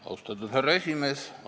Austatud härra esimees!